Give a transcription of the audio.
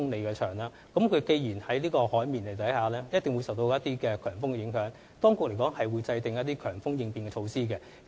既然大橋建於海面上，必定會受強風影響，所以當局會制訂強風應變措施。